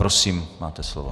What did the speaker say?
Prosím, máte slovo.